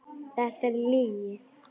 Þetta er lygi.